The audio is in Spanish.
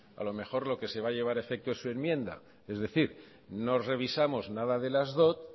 a lo mejor lo que se llevar a efecto su enmienda es decir no revisamos nada de las dot